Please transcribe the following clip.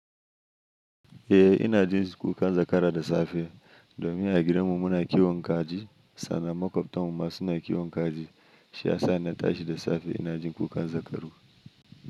Eh ina jin kukan zakara da safe domin a gidanmu muna kiwon kaji sannan maƙwabtanmu ma suna kiwon kaji. Shi ya sa na tashi da safe ina jin kukan zakaru.